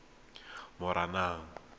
moranang